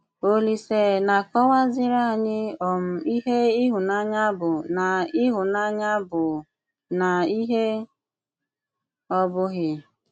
Òlìsè na-àkọ̀wàzìrì ànyị um ìhè ìhụ̀nànyà bụ̀ na ìhụ̀nànyà bụ̀ na ìhè ọ̀ bụ̀ghì.